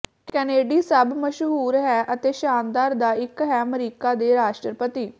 Kennedy ਸਭ ਮਸ਼ਹੂਰ ਹੈ ਅਤੇ ਸ਼ਾਨਦਾਰ ਦਾ ਇੱਕ ਹੈ ਅਮਰੀਕਾ ਦੇ ਰਾਸ਼ਟਰਪਤੀ